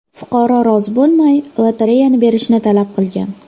Fuqaro rozi bo‘lmay lotereyani berishini talab qilgan.